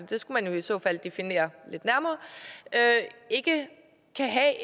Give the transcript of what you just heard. det skal man i så fald have defineret lidt nærmere ikke kan have